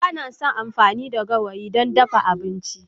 Ba na son amfani da gawayi don dafa abinci.